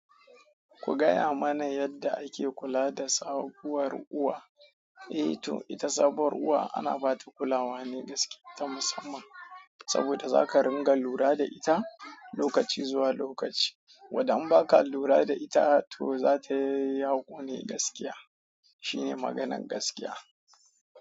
Ku gaya mana yadda ake kula da sabuwar uwa? Eh to ita sabuwar uwa ana bata kulawa ne gaskiya ta musamman saboda zaka ringa lura da ita lokaci zuwa lokaci wada an baka lura da ita to zata yi yaƙo ne gaskiya. Shine maganan gaskiya.